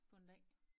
På en dag